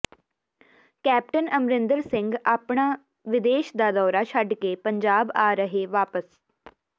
captain Amarinder Singh ਅਪਣਾ ਵਿਦੇਸ਼ ਦਾ ਦੌਰਾ ਛੱਡ ਕੇ ਪੰਜਾਬਆ ਰਹੇ ਵਾਪਸ